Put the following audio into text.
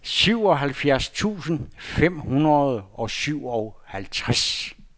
syvoghalvfjerds tusind fem hundrede og syvoghalvtreds